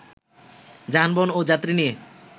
যানবাহন ও যাত্রী নিয়ে